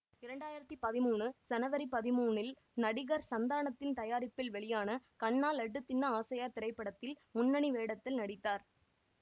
இரண்டு ஆயிரத்தி பதிமூணு சனவரி பதிமூனில் நடிகர் சந்தானத்தின் தயாரிப்பில் வெளியான கண்ணா லட்டு தின்ன ஆசையா திரைப்படத்தில் முன்னணி வேடத்தில் நடித்தார்